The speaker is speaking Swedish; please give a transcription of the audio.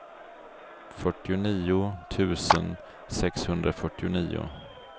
fyrtionio tusen sexhundrafyrtionio